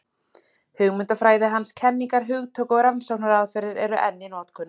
Hugmyndafræði hans, kenningar, hugtök og rannsóknaraðferðir eru enn í notkun.